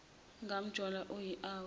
ngamjola uyi owu